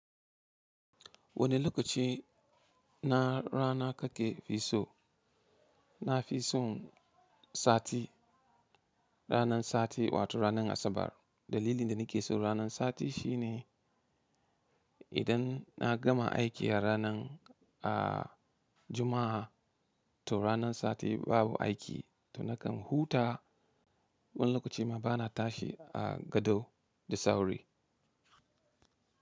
Wani lokaci na rana kake fi so? Na fi son sati, ranan sati wato ranan Asabar. Dalilin da ni ke son ranan sati shi ne idan na gama aiki a ranan a juma'a to ranan sati babu aiki to nakan huta. Wani lokaci ma bana tashi a gado da sauri.